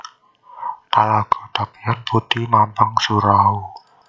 Talago Tapian Puti Mambang Surau